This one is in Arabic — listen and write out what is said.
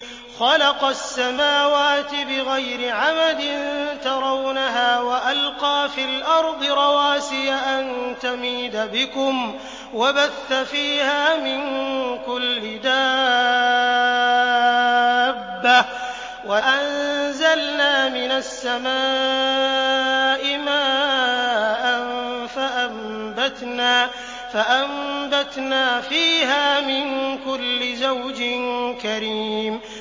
خَلَقَ السَّمَاوَاتِ بِغَيْرِ عَمَدٍ تَرَوْنَهَا ۖ وَأَلْقَىٰ فِي الْأَرْضِ رَوَاسِيَ أَن تَمِيدَ بِكُمْ وَبَثَّ فِيهَا مِن كُلِّ دَابَّةٍ ۚ وَأَنزَلْنَا مِنَ السَّمَاءِ مَاءً فَأَنبَتْنَا فِيهَا مِن كُلِّ زَوْجٍ كَرِيمٍ